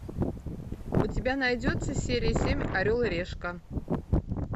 у тебя найдется серия семь орел и решка